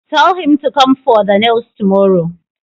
Tell him to come for the nails tomorrow!